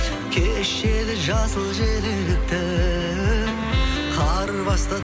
кешегі жасыл желікті қар басты